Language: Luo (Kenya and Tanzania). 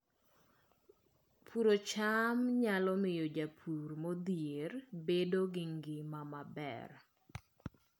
Puodho cham nyalo miyo jopur modhier obed gi ngima maber